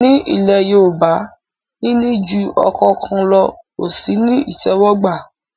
Ní ilẹ̀ Yorùbá, níní ju ọkọ kan lọ ò sí ní ìtẹ́wọ́gbà